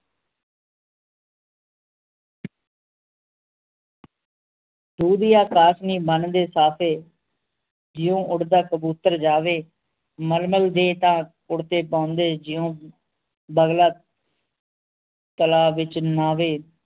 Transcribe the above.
ਦੁਧੀਆ ਕਾਸ਼ਮੀ ਬੰਨਦੇ ਸਾਫ਼ੇ ਜਯੋਂ ਉਡਦਾ ਕਬੂਤਰ ਜਾਵੇ ਮਲਮਲ ਦੇ ਤਾਂ ਕੁੜਤੇ ਪਾਉਂਦੇ ਜਯੂੰ ਬਗੁਲਾ ਤਾਲਾਬ ਵਿਚ ਨਾਵੈ